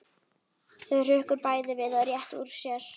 Þau hrukku bæði við og réttu úr sér.